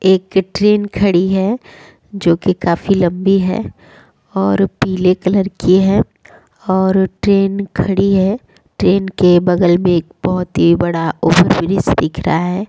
एक ट्रैन खड़ी है जो के काफी लम्बी है और पीले कलर की है और ट्रैन खड़ी है ट्रैन के बगल में एक बहुत ही बड़ा ओवर ब्रिज दिख रहा है।